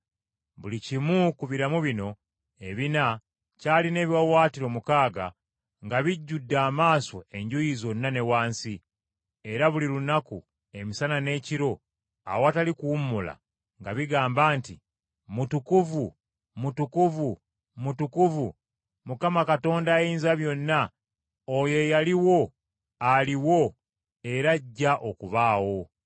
Buli kimu ku biramu bino ebina kyalina ebiwaawaatiro mukaaga nga bijjudde amaaso enjuuyi zonna ne wansi. Era buli lunaku emisana n’ekiro, awatali kuwummula, nga bigamba nti, “Mutukuvu, Mutukuvu, Mutukuvu, Mukama Katonda Ayinzabyonna, Oyo eyaliwo, aliwo, era ajja okubaawo.”